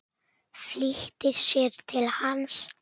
Flýtir sér til hans.